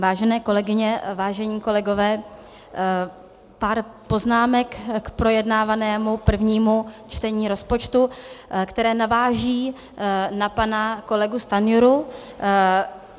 Vážené kolegyně, vážení kolegové, pár poznámek k projednávanému prvnímu čtení rozpočtu, které navážou na pana kolegu Stanjuru.